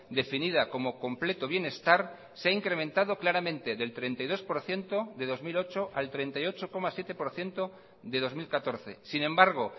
definida como completo bienestar se ha incrementado claramente del treinta y dos por ciento de dos mil ocho al treinta y ocho coma siete por ciento de dos mil catorce sin embargo